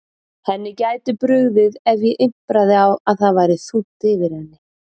Henni gæti brugðið ef ég impraði á að það væri þungt yfir henni.